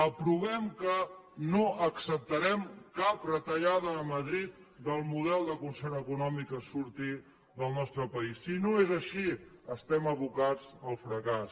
aprovem que no acceptarem cap retallada a madrid del model de concert econòmic que surti del nostre país si no és així estem abocats al fracàs